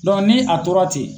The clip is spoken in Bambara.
ni a tora ten.